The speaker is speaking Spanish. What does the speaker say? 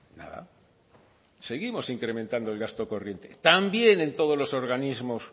nada seguimos incrementando el gasto corriente también en todos los organismos